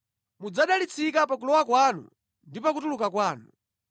Mudzadalitsika pa kulowa kwanu ndi pa kutuluka kwanu.